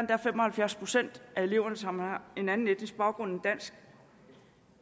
endda fem og halvfjerds procent af eleverne som har en anden etnisk baggrund end dansk